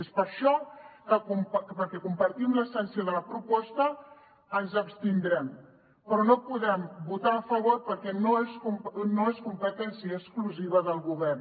és per això perquè compartim l’essència de la proposta que ens abstindrem però no hi podem votar a favor perquè no és competència exclusiva del govern